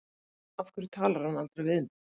Af hverju talar hann aldrei við mig?